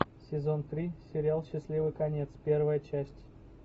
сезон три сериал счастливый конец первая часть